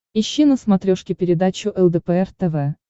ищи на смотрешке передачу лдпр тв